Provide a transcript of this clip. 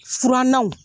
Furannaw